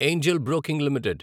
Angel Broking limited